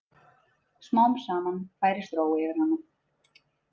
Smám saman færist ró yfir hana.